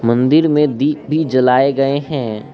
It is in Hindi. मंदिर में दीप भी जलाए गए हैं।